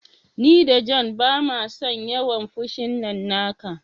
Ni da John bamason yawan fushin nan naka.